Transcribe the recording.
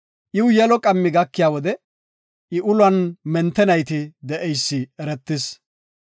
Iwu yelo qammi gakiya wode, I ulon mente nayti de7eysi eretis.